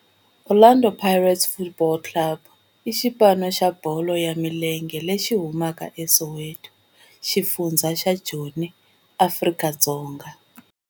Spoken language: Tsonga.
Orlando Pirates Football Club i xipano xa bolo ya milenge lexi humaka eSoweto, xifundzha xa Joni, Afrika-Dzonga.